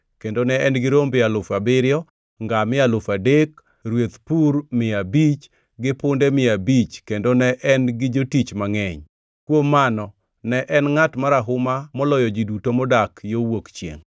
kendo ne en gi rombe alufu abiriyo, ngamia alufu adek, rweth pur mia abich, gi punde mia abich, kendo ne en gi jotich mangʼeny. Kuom mano, ne en ngʼat marahuma moloyo ji duto modak yo wuok chiengʼ.